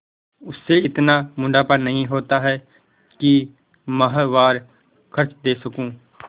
उससे इतना मुनाफा नहीं होता है कि माहवार खर्च दे सकूँ